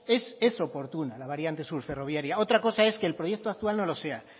es oportuna la variante sur ferroviaria otra cosa es que el proyecto actual no lo sea